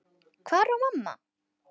Hvar var mamma?